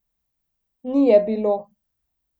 Ni je bilo.